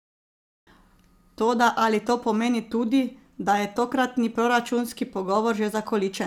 Toda ali to pomeni tudi, da je tokratni proračunski pogovor že zakoličen?